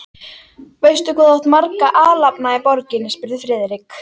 Friðrik velunnarann segja, konur og karla.